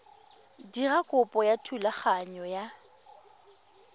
dira kopo ya thulaganyo ya